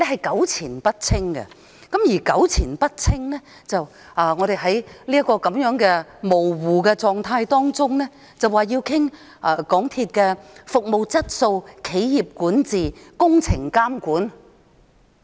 港鐵公司弄得糾纏不清，於是，我們便在這種模糊的情況下討論港鐵公司的服務質素、企業管治、工程監管。